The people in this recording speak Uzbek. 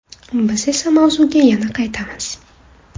Biz esa mavzuga yana qaytamiz.